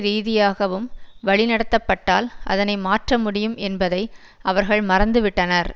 ரீதியாகவும் வழிநடத்தப்பட்டால் அதனை மாற்ற முடியும் என்பதை அவர்கள் மறந்து விட்டனர்